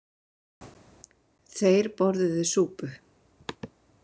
Þeir borðuðu súpu.